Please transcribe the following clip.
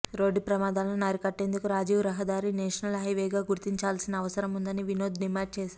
road ప్రమాదాలను అరికట్టేందుకు రాజీవ్ రహదారిని నేషనల్ హైవేగా గుర్తించాల్సిన అవసరముందని వినోద్ డిమాండ్ చేశారు